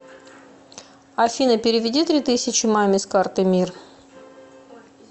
афина переведи три тысячи маме с карты мир